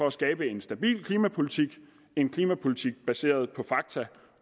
at skabe en stabil klimapolitik en klimapolitik baseret på fakta